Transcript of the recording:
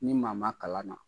Ni maa ma kalan na.